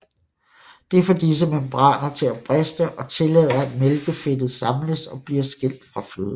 Det får disse membraner til at briste og tillader at mælkefedtet samles og bliver skilt fra fløden